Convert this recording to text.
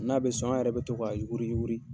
N'a bɛ sɔn an yɛrɛ bɛ to k'a yuguri yuguri.